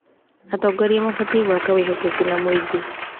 Atongoria mabatiĩ gwaka wĩhokeku na mũingĩ.